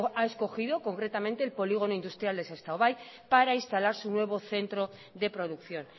ha escogido concretamente el polígono industrial de sestao bai para instalar su nuevo centro de producción